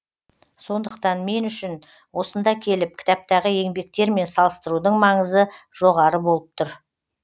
сондықтан мен үшін осында келіп кітаптағы еңбектермен салыстырудың маңызы жоғары болып тұр